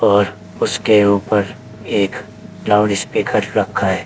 और उसके ऊपर एक लाउडस्पीकर रखा है।